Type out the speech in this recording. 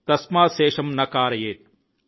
తస్మాత్ శేషమ్ న కారయేత్ ||